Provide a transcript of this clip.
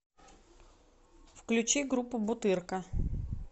включи группу бутырка